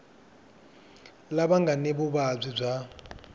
lava nga ni vuvabyi bya